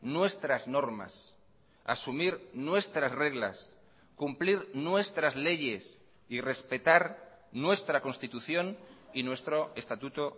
nuestras normas asumir nuestras reglas cumplir nuestras leyes y respetar nuestra constitución y nuestro estatuto